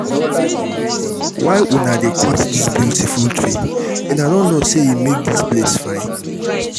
why una dey cut dis beautiful tree? una no know say e make dis place fine.